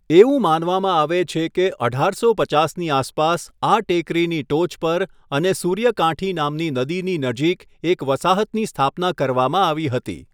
એવું માનવામાં આવે છે કે અઢારસો પચાસની આસપાસ આ ટેકરીની ટોચ પર અને સૂર્યકાંઠી નામની નદીની નજીક એક વસાહતની સ્થાપના કરવામાં આવી હતી.